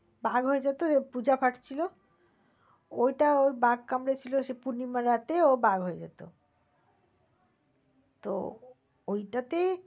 বাঘ হয়ে যেত পূজা ভাট ছিল ওইটা ও বাঘ কামড়ে ছিল সে পূর্নিমা রাতে ও বাঘ হয়ে যেত। তো ওইটাতে